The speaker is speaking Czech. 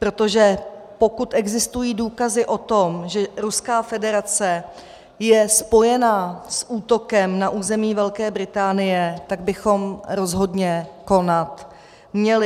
Protože pokud existují důkazy o tom, že Ruská federace je spojena s útokem na území Velké Británie, tak bychom rozhodně konat měli.